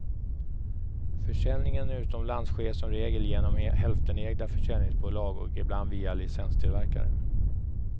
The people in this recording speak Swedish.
Försäljningen utomlands sker som regel genom hälftenägda försäljningsbolag och ibland via licenstillverkare.